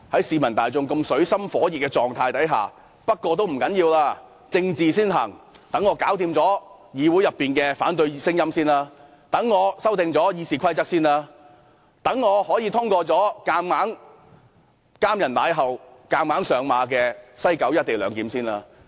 市民大眾在這水深火熱下，政府竟然表示，不打緊，政治先行，先讓政府處理議會內的反對聲音，讓政府可修訂《議事規則》，讓政府可先通過"監人賴厚"、強行上馬的西九龍站"一地兩檢"議案。